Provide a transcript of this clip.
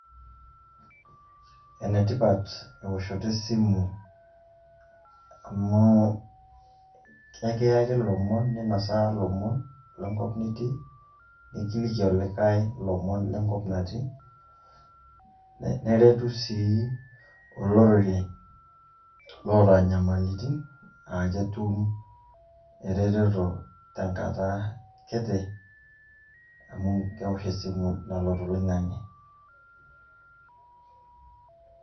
Enetipat eoshoto e simu amu ke kiyaki lomon ninosaa ilomon le nkop nitii, nekiliki likai lomon le nkop natii, neretu sii olorere loata nyamalitin aa ketum ereteto te nkata kiti amu eosh esimu nalo toloing'ang'e.